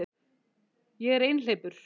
Ég er einhleypur